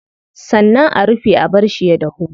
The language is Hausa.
Sannan a rufe a barshi ya dahu.